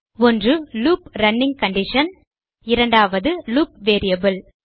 ஒன்று loop running condition இரண்டாவது loop variable